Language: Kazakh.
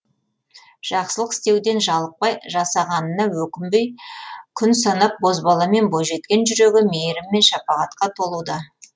жақсылық істеуден жалықпай жасағанына өкінбей күн санап бозбала мен бойжеткен жүрегі мейірім мен шапағатқа толуда